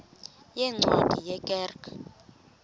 yeencwadi ye kerk